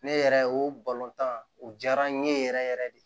Ne yɛrɛ o balontan u jara n ye yɛrɛ yɛrɛ yɛrɛ de